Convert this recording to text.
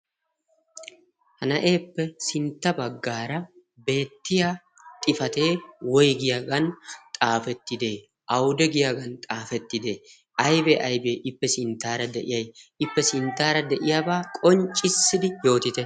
Ha na'eeppe sintta baggaara beettiya xifatee woygiyaagan xaafettidee? awude giyaagan xaafettidee? aybee aybee ippe sinttaara de'iyay? Ippe sinttaara de'iyaabaa qonccissidi yootite?